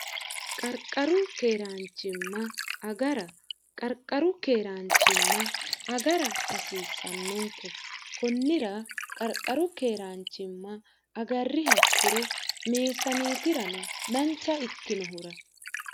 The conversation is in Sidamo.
qarqaru keeraanchimma agara qarqaru keeraanchimma agara hasiissannonke kunnira qarqaru keeraanchimma agarri hakkiro meesaniitira no dancha ikkinohura